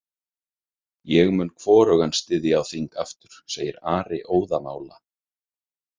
Ég mun hvorugan styðja á þing aftur, segir Ari óðamála.